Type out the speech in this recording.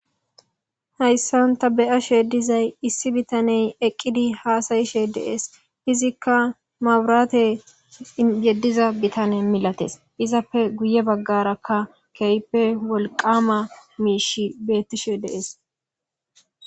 Hayssan ta be7ashe dizay issi bitanne eqqidi haasayishe de7ees. Izikka mabiraate yediza bitanne milates. I zappe guye bagarakka keehippe wolqqama miishshi beetishe de7ees.